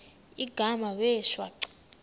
igama wee shwaca